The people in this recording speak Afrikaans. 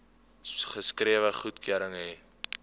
geskrewe goedkeuring hê